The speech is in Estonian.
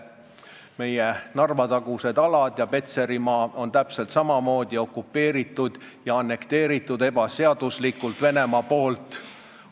Meie Narva-tagused alad ja Petserimaa on täpselt samamoodi Venemaa poolt okupeeritud ja ebaseaduslikult annekteeritud.